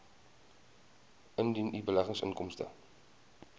indien u beleggingsinkomste